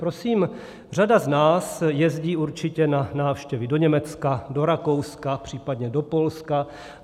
Prosím, řada z nás jezdí určitě na návštěvy do Německa, do Rakouska, případně do Polska.